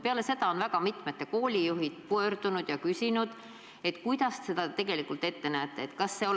Peale seda on väga mitmed koolijuhid pöördunud ja küsinud, kuidas te seda tegelikult ette kujutate.